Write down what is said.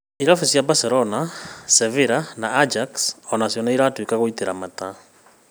Irabu cia Barcelona, Sevilla na Ajax aonacio nociratuĩka gũitĩra mata